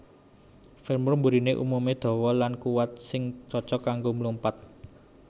Femur mburiné umumé dawa lan kuwat sing cocok kanggo mlumpat